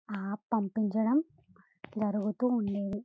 ఆ పంపించడం జరుగుతూ ఉండేది.